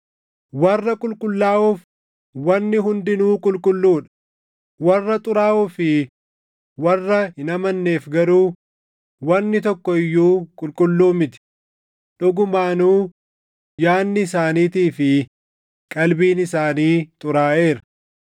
Warra qulqullaaʼoof wanni hundinuu qulqulluu dha; warra xuraaʼoo fi warra hin amanneef garuu wanni tokko iyyuu qulqulluu miti. Dhugumaanuu yaadni isaaniitii fi qalbiin isaanii xuraaʼeera.